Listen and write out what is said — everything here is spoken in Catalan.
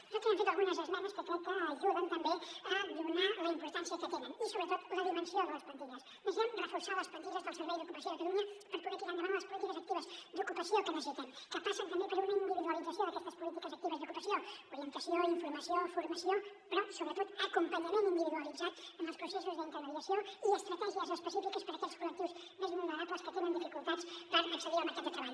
nosaltres hem fet algunes esmenes que crec que ajuden també a donar la importància que tenen i sobretot la dimensió de les plantilles necessitem reforçar les plantilles del servei d’ocupació de catalunya per poder tirar endavant les polítiques actives d’ocupa·ció que necessitem que passen també per una individualització d’aquestes políti·ques actives d’ocupació orientació informació formació però sobretot acompanya·ment individualitzat en els processos d’intermediació i estratègies específiques per a aquells col·lectius més vulnerables que tenen dificultats per accedir al mercat de treball